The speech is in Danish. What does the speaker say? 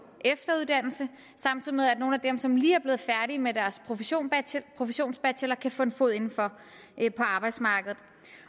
efteruddannelse samtidig med at nogle af dem som lige er blevet færdige med deres professionsbachelor kan få en fod inden for på arbejdsmarkedet